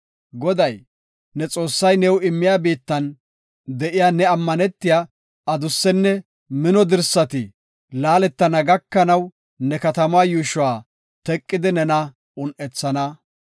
Goday, ne Xoossay new immiya biittan de7iya ne ammanetiya adussenne mino dirsati laaletana gakanaw ne katamaa yuushuwa teqidi nena un7ethana.